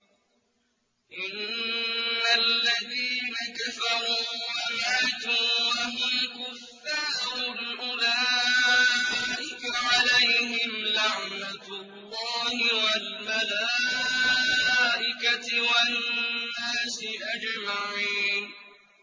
إِنَّ الَّذِينَ كَفَرُوا وَمَاتُوا وَهُمْ كُفَّارٌ أُولَٰئِكَ عَلَيْهِمْ لَعْنَةُ اللَّهِ وَالْمَلَائِكَةِ وَالنَّاسِ أَجْمَعِينَ